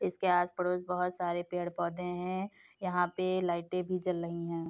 इसके आस पड़ोस बहोत सारे पेड़-पौधे हैं। यहां पे लाईटें भी जल रही हैं।